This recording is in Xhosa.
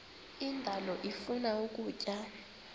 indalo ifuna ukutya